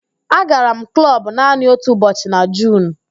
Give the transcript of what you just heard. Agara m klọbụ naanị otu ụbọchị​ na Juun